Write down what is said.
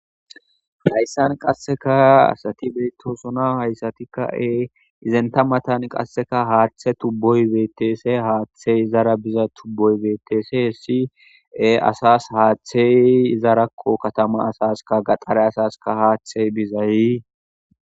Haysan qaseka asati betosona haysati e izenta matan qaseka hathe tuboy betes he hathey izara biza tuboy betes asas hathey izarako katama asaska gaxare asaska hathey bizay